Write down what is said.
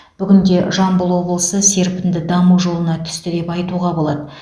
бүгінде жамбыл облысы серпінді даму жолына түсті деп айтуға болады